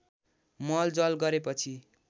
मल जल गरेपछि